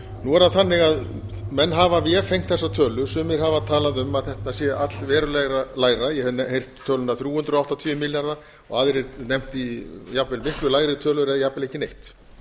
nú er það þannig að menn hafa vefengt þessa tölu sumir hafa talað um að þetta sé allverulega lægri ég hef heyrt töluna þrjú hundruð áttatíu milljarða og aðrir nefna jafnvel miklu lægri tölur eða jafnvel ekki neitt